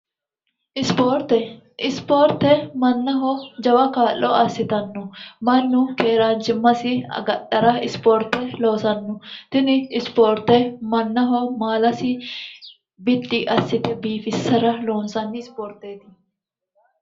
ispoorte isipoorte mannaho jawa kaa'lo assitanno mannu keeraanchimmasi agadhara ispoorte loosanno tini ispoorte mannaho maalasi biddi assite biifissara loonsanni ispoorteeti